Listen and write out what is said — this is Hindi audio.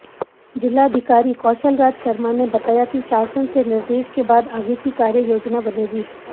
जिलाधिकारी कौशलराज शर्मा ने बताया कि शासन से निर्देश के बाद आगे की कार्ययोजना बनेगी